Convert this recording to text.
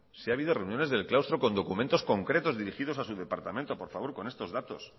si ha habido reuniones del claustro con documentos concretos dirigidos a su departamento por favor con estos datos